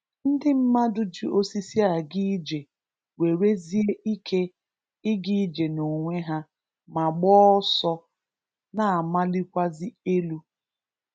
Ndị mmadụ ji osịsi aga ije, nwerezie ike ịga ije n’onwe ha ma gbaa ọsọ, na-amalịkwazị elu.